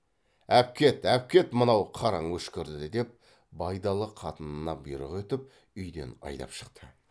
әпкет әпкет мынау қараң өшкірді деп байдалы қатынына бұйрық етіп үйден айдап шықты